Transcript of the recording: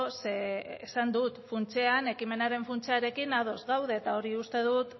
zeren esan dut funtsean ekimenaren funtsarekin ados gaude eta hori uste dut